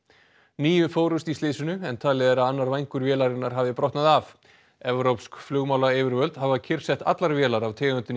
níu fórust í slysinu en talið er að annar vængur vélarinnar hafi brotnað af evrópsk flugmálayfirvöld hafa kyrrsett allar vélar af tegundinni